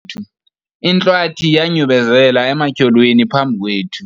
intlwathi yanyubelezela ematyholweni phambi kwethu